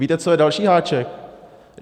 Víte, co je další háček?